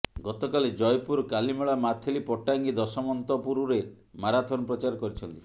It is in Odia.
ଗତକାଲି ଜୟପୁର କାଲିମେଳା ମାଥିଲି ପଟ୍ଟାଙ୍ଗୀ ଦଶମନ୍ତପୁରରେ ମାରାଥନ୍ ପ୍ରଚାର କରିଛନ୍ତି